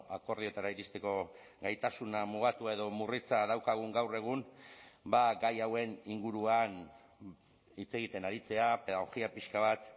akordioetara iristeko gaitasuna mugatua edo murritza daukagun gaur egun gai hauen inguruan hitz egiten aritzea pedagogia pixka bat